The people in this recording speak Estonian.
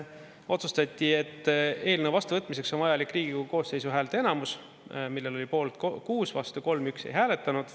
Otsustati, et eelnõu vastuvõtmiseks on vajalik Riigikogu koosseisu häälteenamus, millel oli poolt 6, vastu 3, 1 ei hääletanud.